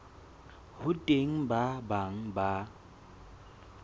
ho teng ba bang ba